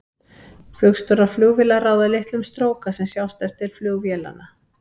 Flugstjórar flugvéla ráða litlu um stróka sem sjást eftir flug vélanna.